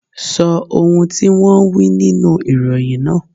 Sọ ohun tí wón wí nínú ìròyìn náà.